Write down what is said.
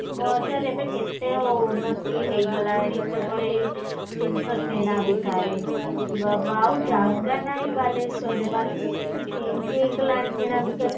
ବଜାର ଏବେ କେତେ ଉନ୍ନତି ହେଇଗଲାଣି କେବଳ ଏଇ ଜିନିଷ କିଣାବିକା ରେ ବାବା ଆଉ ଜାଗା ନାଇଁ ବାଲେଶ୍ଵର ରେ ବାଲେଶ୍ଵର କେତେ change ହାଇଗଲାଣି କିଣାବିକା ରେ